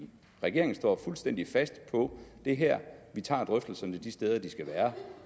regeringen står fuldstændig fast på det her vi tager drøftelserne de steder de skal være